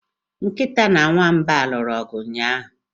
Nkịta na nwamba a lụrụ ọgụ ụnyaahụ?